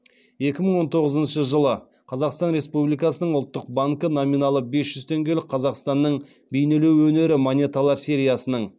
екі мың он тоғызыншы жылы қазақстан республикасының ұлттық банкі номиналы бес жүз теңгелік қазақстанның бейнелеу өнері монеталар сериясының